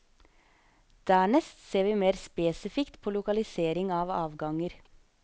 Dernest ser vi mer spesifikt på lokalisering av avganger.